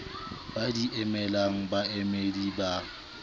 ba di emelang baemedi ba